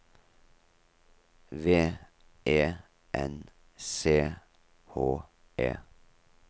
V E N C H E